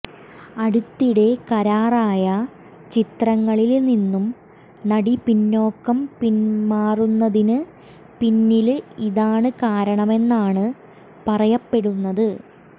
അടുത്തിടെ കരാറായ ചിത്രങ്ങളില് നിന്നും നടി പിന്നോക്കം പിന്മാറുന്നതിന് പിന്നില് ഇതാണ് കാരണമെന്നാണ് പറയപ്പെടുന്നത്